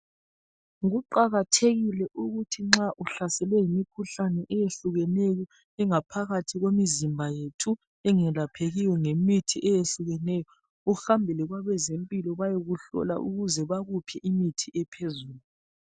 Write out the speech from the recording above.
Kuqakathekile ukuthi nxa uhlaselwe yimikhuhlane eyehlukeneyo engaphakathi kwemizimba yethu engelaphekiyo ngemithi eyehlukeneyo, uhambele kwabezempilo bayekuhlola, ukuze bakuphe imithi ephezulu.